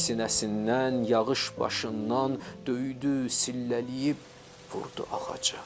Külək sinəsindən, yağış başından döydü, sillələyib vurdu ağacı.